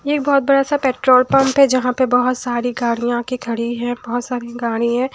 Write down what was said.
ये बहुत बड़ा सा पेट्रोल पंप है जहाँ पर बहुत सारी गाड़ियां आ के खड़ी है बहुत सारी गाड़ी है।